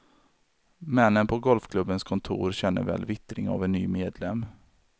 Männen på golfklubbens kontor känner väl vittring av en ny medlem.